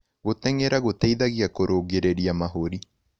Gũtengera gũteĩthagĩa kũrũngĩrĩrĩa mahũrĩ